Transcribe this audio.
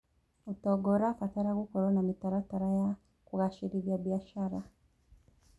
ũtonga ũrabatara gũkorwo na mĩtaratara ya kũgacĩrithia biacara.